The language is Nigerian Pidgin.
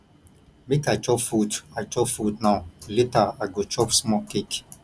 make i chop fruit i chop fruit now later i go chop small cake